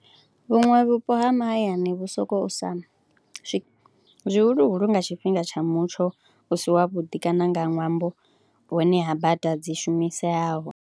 Vhuṅwe vhupo ha mahayani vhu sokou sa zwihuluhulu nga tshifhinga tsha mutsho u si wavhuḓi kana nga ṅwambo hune ha bada dzi shumiseaho.